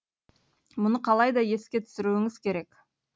мұны қалайда еске түсіруіңіз керек